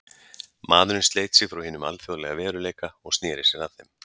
Maðurinn sleit sig frá hinum alþjóðlega veruleika og sneri sér að þeim.